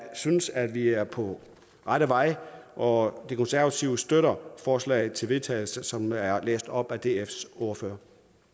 synes at vi er på rette vej og de konservative støtter forslaget til vedtagelse som er læst op af dfs ordfører